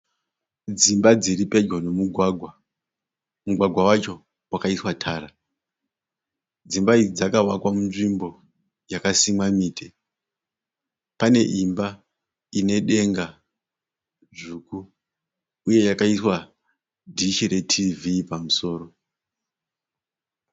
Dzimba dziripedyo nomugwagwa. Mugwagwa wacho wakaiswa tara. Dzimba idzi dzakavakwa munzvimbo yakasimwa miti. Paneimba inedenga dzvuku uye yakaiswa dhishi retiivhii pamusoro.